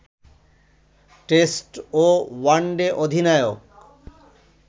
test ও one day অধিনায়ক